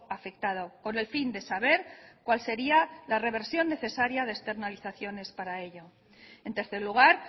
afectado con el fin de saber cual sería la reversión necesaria de externalizaciones para ello en tercer lugar